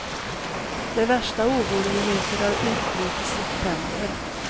De värsta oroligheterna utbröt i september.